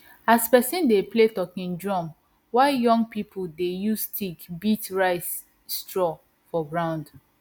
as person dey play talking drum while young people dey use stick beat rice straw for ground